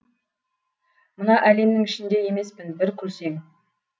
мына әлемнің ішінде емеспін бір күлсең